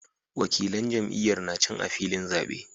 Wakilan jam'iyyar na can a filin zabe